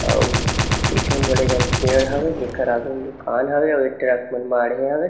अउ पीछू म बड़े जान पेड़ हावय जेकर आगू म दुकान हवे अउ ए ट्रक मन माढ़े हवे।